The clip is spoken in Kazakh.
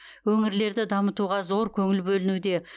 өңірлерді дамытуға зор көңіл бөлінуде